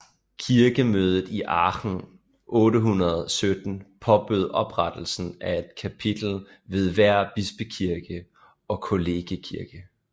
Kirkemødet i Aachen 817 påbød oprettelsen af et kapitel ved hver bispekirke og kollegiatkirke